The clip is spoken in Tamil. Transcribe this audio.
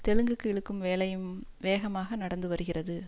தெலுங்குக்கு இழுக்கும் வேலையும் வேகமாக நடந்து வருகிறது